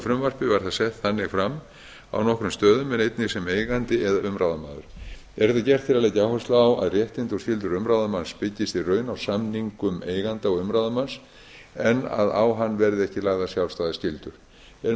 var það sett þannig fram á nokkrum stöðum en einnig sem eigandi eða umráðamaður er þetta gert til að leggja áherslu á að réttindi og skyldur umráðamanns byggjast í raun á samningum eiganda og umráðamanns en að á hann verði ekki lagðar sjálfstæðar skyldur er